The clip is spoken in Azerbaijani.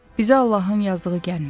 Bizə Allahın yazdığı gəlmədi.